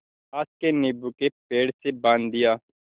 पास के नीबू के पेड़ से बाँध दिया